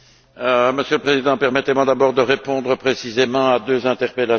Monsieur le Président, permettez moi tout d'abord de répondre précisément à deux interpellations.